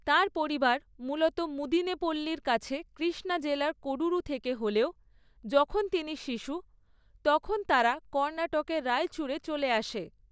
তাঁর পরিবার মূলত মুদিনেপল্লির কাছে কৃষ্ণা জেলার কোডুরু থেকে হলেও, যখন তিনি শিশু, তখন তারা কর্ণাটকের রায়চুরে চলে আসে।